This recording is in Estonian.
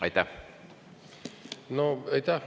Aitäh!